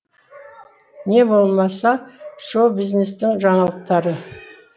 не болмаса шоу бизнестің жаңалықтары